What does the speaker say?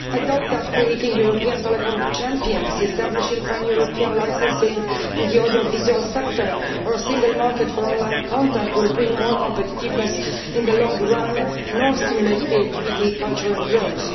I doubt whether creating European telecom champions, establishing pan European licensing in the audiovisual sector or a Single Market for on line content will bring more competitiveness in the long run or stimulate creativity, culture and growth.